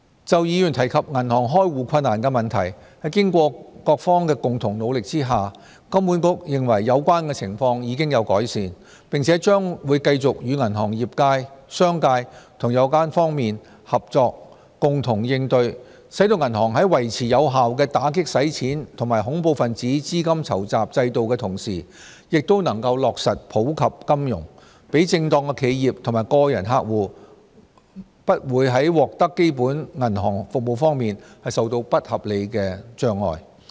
就議員提及銀行開戶困難的問題，在經過各方的共同努力下，金管局認為有關情況已有改善，並將會繼續與銀行業界、商界和有關各方合作，共同應對，使銀行在維持有效的打擊洗錢及恐怖分子資金籌集制度的同時，亦能夠落實普及金融，讓正當企業及個人客戶不會在獲得基本銀行服務方面受到不合理的阻礙。